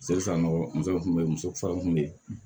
Seli san nɔgɔ muso kun be yen muso kun be yen